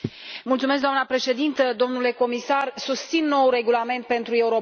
Doamnă președintă, domnule comisar, susțin noul regulament pentru Europol.